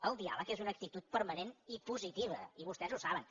el diàleg és una actitud permanent i positiva i vostès ho saben